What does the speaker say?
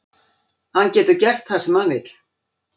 Hann getur gert það sem hann vill.